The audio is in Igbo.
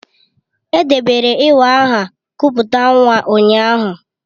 Edebere iwa aha kupute nwa ụnyaahụ.